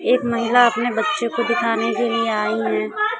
एक महिला अपने बच्चे को दिखाने के लिए आयी है।